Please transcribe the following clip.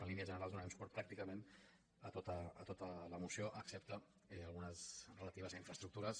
en línies generals donarem suport pràcticament a tota la moció excepte a algunes relatives a infraestructures